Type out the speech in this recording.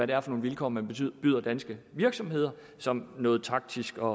det er for nogle vilkår man byder danske virksomheder som noget taktisk og